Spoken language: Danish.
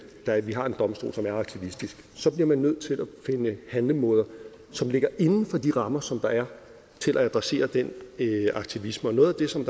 at vi har en domstol som er aktivistisk så bliver man nødt til at finde handlemåder som ligger inden for de rammer som der er til at adressere den aktivisme og noget af det som